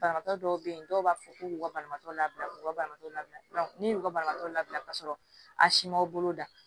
Banabaatɔ dɔw be yen dɔw b'a fɔ k'u b'u ka banabaatɔ labila k'u ka banabaatɔ labila ne y'u ka banabaatɔ labila ka sɔrɔ a si ma bolo da